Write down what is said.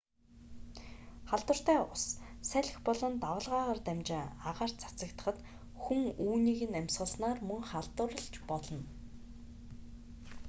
халдвартай ус салхи болон давалгаагаар дамжин агаарт цацагдахад хүн үүнийг нь амьсгалснаар мөн халдварлаж болно